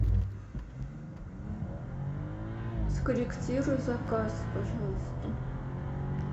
скорректируй заказ пожалуйста